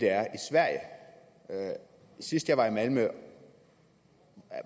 er i sverige sidst jeg var i malmø